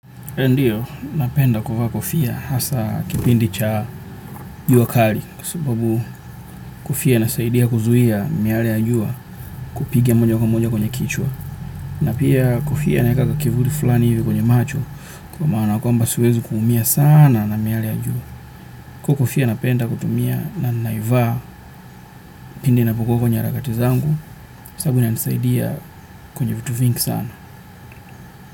Ndiyo, napenda kuvaa kofia hasa kipindi cha jua kali kwa sababu kofia inasaidia kuzuia miale ya jua kupiga moja kwa moja kwenye kichwa na pia kofia inaeka kivuli fulani hivi kwenye macho kwa maana kwamba siwezi kuumia sana na miale ya jua na pia kofia napenda kutumia na naiva pindi napokua kwenye rakati zangu sababu inanisaidia kwenye vitu vingi sana.